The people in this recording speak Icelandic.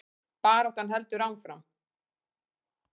Baráttan heldur áfram